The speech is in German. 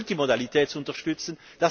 Multimodalität zu unterstützen.